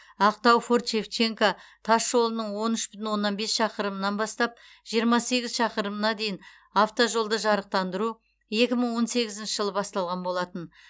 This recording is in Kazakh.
ақтау форт шевченко тас жолының он үш бүтін оннан бес шақырымынан бастап жиырма сегіз шақырымына дейін автожолды жарықтандыру екі мың он сегізінші жылы басталған болатын